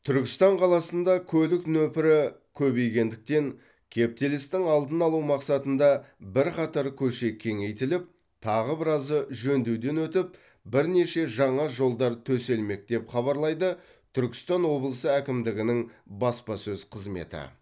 түркістан қаласында көлік нөпірі көбейгендіктен кептелістің алдын алу мақсатында бірқатар көше кеңейтіліп тағы біразы жөндеуден өтіп бірнеше жаңа жолдар төселмек деп хабарлайды түркістан облысы әкімдігінің баспасөз қызметі